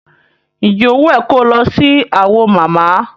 Ǹjẹ́ ó wùn ẹ ko lọ sí Awo mama?